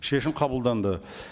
шешім қабылданды